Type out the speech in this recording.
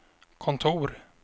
kontor